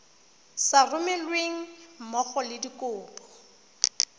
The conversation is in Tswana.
sa romelweng mmogo le dikopo